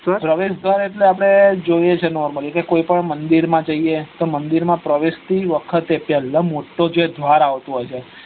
પ્રવેશ દ્વાર એટલે આપડે જોઈએછે nomally કે કોઈ પણ મદિર માં જઈએ તો મંદિર માં પ્રવેશ થી વખતે પેલ્લા જે મોટો જે દ્વાર આવતો હોય છે.